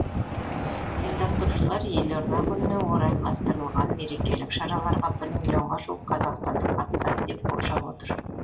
ұйымдастырушылар елорда күніне орайластырылған мерекелік шараларға бір миллионға жуық қазақстандық қатысады деп болжап отыр